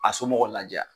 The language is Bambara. A somɔgɔw la diya